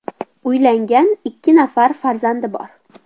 Uylangan, ikki nafar farzandi bor.